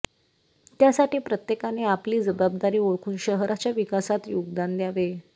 त्यासाठी प्रत्येकाने आपली जबाबदारी ओळखून शहाराच्या विकासात योगदान द्यावे